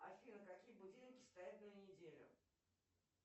афина какие будильники стоят на неделю